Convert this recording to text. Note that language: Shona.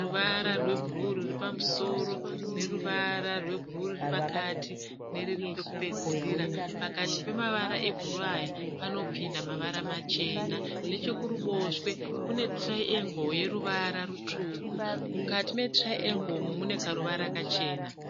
ruvara rwebhuruu ruri pamusoro neruvara rwebhuruu ruri pakati neruri pokupedzisira. Pakati pemavara ebhuruu aya panopinda mavara machena. Nechekuruboshwe kune "triangle" yeruvara rutsvuku. Mukati me"triangle" iyi mune karuvara kachena.